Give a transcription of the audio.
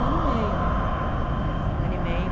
Um ano e meio, um ano e meio.